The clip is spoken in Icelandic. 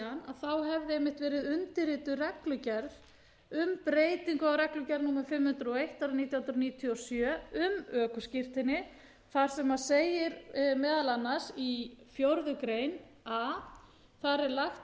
verið undirrituð reglugerð um breytingu á reglugerð númer fimm hundruð og eitt nítján hundruð níutíu og sjö um ökuskírteini þar sem segir meðal annars í fjórða grein a þar er lagt til